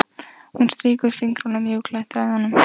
Hún strýkur fingrunum mjúklega eftir æðunum.